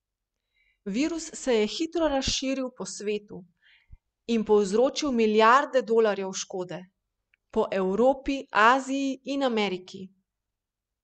Virus se je hitro razširil po svetu in povzročil milijarde dolarjev škode po Evropi, Aziji in v Ameriki.